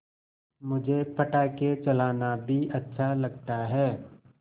मुझे पटाखे चलाना भी अच्छा लगता है